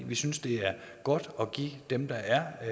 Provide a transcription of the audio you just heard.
vi synes det er godt at give dem der er